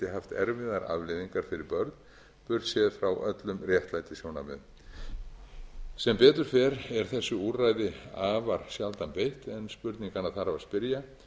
haft erfiðar afleiðingar fyrir börn burt séð frá öllum réttlætissjónarmiðum sem betur fer er þessu úrræði afar sjaldan beitt en spurninganna þarf að spyrja